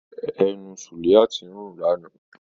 Ẹnu Suliat ń rùn lánàá.